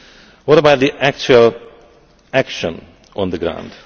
What about the actual action on the ground?